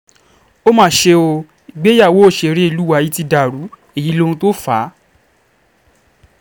ó mà ṣe o ìgbéyàwó òṣèré ilé wa yìí ti dàrú èyí lóhun tó fà á